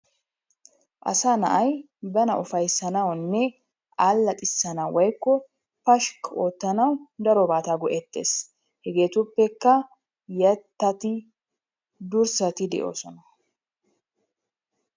Asaa na'ay bana ufaysanawune alaxissanawu woyiko pashikki oottanawu darobatta go'ettes. Hegettupeka yettati dursatti de'ossona.